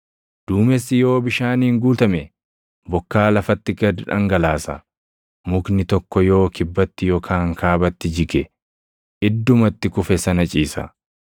Duumessi yoo bishaaniin guutame, bokkaa lafatti gad dhangalaasa. Mukni tokko yoo kibbatti yookaan kaabatti jige, idduma itti kufe sana ciisa.